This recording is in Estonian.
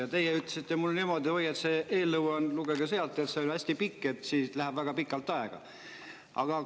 Ja teie ütlesite mulle niimoodi: "Oi, lugege eelnõu, see on hästi pikk, läheb väga pikalt aega.